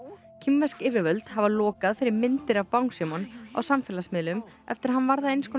kínversk yfirvöld hafa lokað fyrir myndir af Bangsímon á samfélagsmiðlum eftir að hann varð af eins konar